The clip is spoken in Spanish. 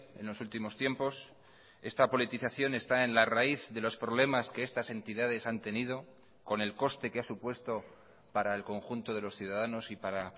en los últimos tiempos esta politización está en la raíz de los problemas que estas entidades han tenido con el coste que ha supuesto para el conjunto de los ciudadanos y para